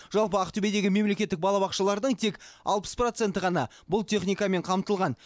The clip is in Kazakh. жалпы ақтөбедегі мемлекеттік балабақшалардың тек алпыс проценті ғана бұл техникамен қамтылған